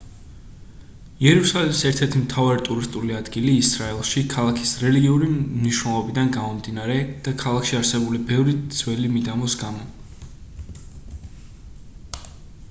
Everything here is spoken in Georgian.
იერუსალიმი ერთ-ერთი მთავარი ტურისტული ადგილია ისრაელში ქალაქის რელიგიური მნიშვნელობიდან გამომდინარე და ქალაქში არსებული ბევრი ძველი მიდამოს გამო